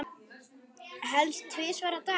Helst tvisvar á dag.